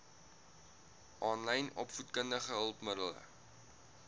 aanlyn opvoedkundige hulpmiddele